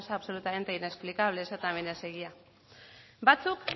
absolutamente inexplicable eso también es egia batzuk